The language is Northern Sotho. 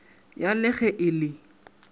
ya le ge e le